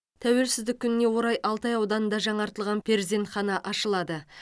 тәуелсіздік күніне орай алтай ауданында жаңартылған перзентхана ашылады